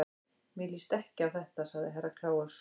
Mér líst ekki á þetta, sagði Herra Kláus.